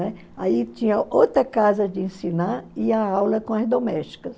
Aí tinha outra casa de ensinar e a aula com as domésticas. Né?